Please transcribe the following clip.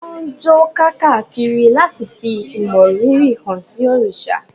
Wọ́n ń jó káàkiri láti fí ìmọrírì hán sí òrìṣà.